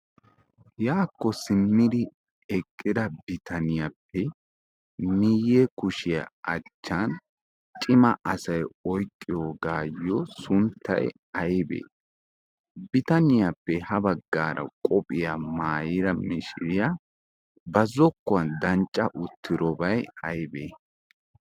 Yaako simmidi eqqida biitaniyappe miye kushiya achchan ciima asay oyqqiyogayo sunttay aybee? Biittaniyappe ha baggaara qophiyaa maayida miishshiryaa ba zokuwan dancca uttidobay aybee?